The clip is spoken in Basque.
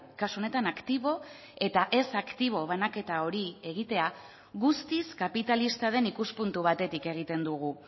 kasu honetan aktibo eta ez aktibo banaketa hori egitea guztiz kapitalista den ikuspuntu batetik egiten dugu